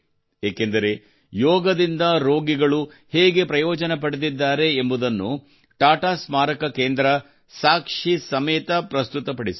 ಏಕೆಂದರೆ ಯೋಗದಿಂದ ರೋಗಿಗಳು ಹೇಗೆ ಪ್ರಯೋಜನ ಪಡೆದಿದ್ದಾರೆ ಎಂಬುದನ್ನು ಟಾಟಾ ಸ್ಮಾರಕ ಕೇಂದ್ರವು ಸಾಕ್ಷಿ ಸಮೇತ ಪ್ರಸ್ತುತಪಡಿಸಿದೆ